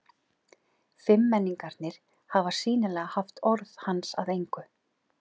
Fimmmenningarnir hafa sýnilega haft orð hans að engu.